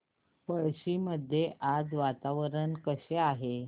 पळशी मध्ये आज वातावरण कसे आहे